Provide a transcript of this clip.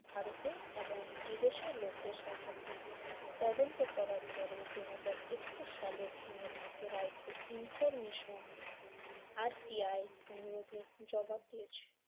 ভারতে এবং বিদেশে লোকদের সম্পর্কে তদন্ত করার পরে দুই হাজার একুশ সালের জুনের মধ্যে রা একটু ইনফরমেশন আর-টি-আই অনুরোধের জবাব দিয়েছে।